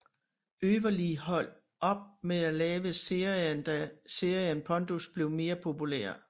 Øverli hold op med at lave serien da serien pondus blev mere populær